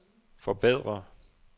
forbedre